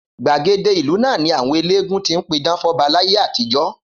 Gbàgede ìlú ni àwọn eléégún tí ń pidán fọ́ba láyé àtijọ́.